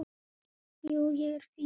Jú, ég er fínn.